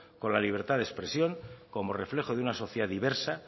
con la libertad de expresión como reflejo de una sociedad diversa